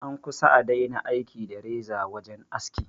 An kusa a daina aiki da reza wajen aski